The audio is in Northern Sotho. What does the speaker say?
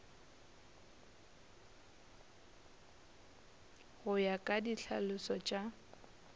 go ya ka ditlhalošo tša